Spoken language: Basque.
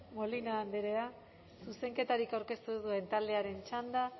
molina andrea zuzenketarik aurkeztu ez duen taldearen txanda